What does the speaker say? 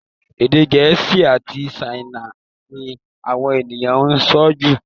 Èdè Gẹ̀ẹ́sì àti Ṣáínà ni àwọn ènìyàn ń sọ jù